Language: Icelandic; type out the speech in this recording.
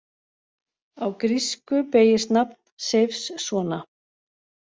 Á grísku beygist nafn Seifs svona: